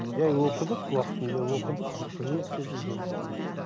жай оқыдық уақытында оқыдық қызмет істедік жүрдік неттік